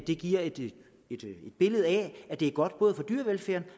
det giver et billede af at det er godt for dyrevelfærden